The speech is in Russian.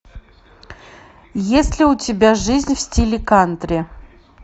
есть ли у тебя жизнь в стиле кантри